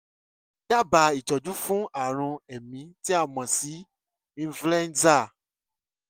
dábàá ìtọ́jú fún ààrùn èémí tí a mọ̀ sí influenza